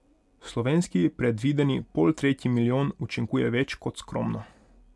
Slovenski predvideni poltretji milijon učinkuje več kot skromno.